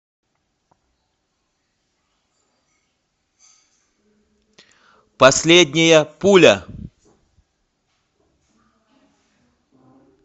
последняя пуля